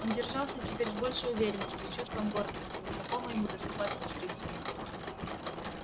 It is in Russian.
он держался теперь с большей уверенностью с чувством гордости незнакомой ему до схватки с рысью